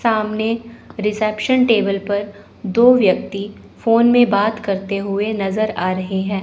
सामने reception table पर दो व्यक्ति फ़ोन में बात करते हुए नज़र आ रहे हैं।